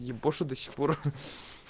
ебошит до сих пор